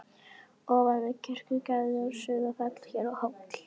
Ofan við kirkjugarðinn á Sauðafelli er hóll.